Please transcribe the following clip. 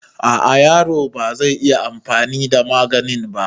A a yaro bazai iya anfani da maganin ba